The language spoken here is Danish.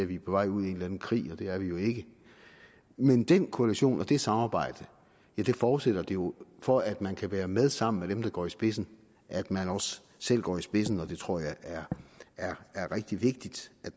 vi er på vej ud i en eller anden krig og det er vi jo ikke men den koalition og det samarbejde forudsætter jo for at man kan være med sammen med dem der går i spidsen at man også selv går i spidsen og det tror jeg er er rigtig vigtigt at